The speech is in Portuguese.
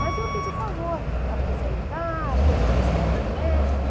Mas iam pedir o favor para apresentar, coisa questão de médico.